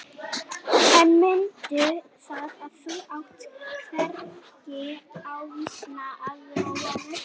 Lítil og hægfara hreyfing vekur það lítinn svigkraft að hans verður ekki eða varla vart.